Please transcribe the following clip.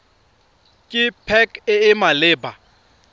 ke pac e e maleba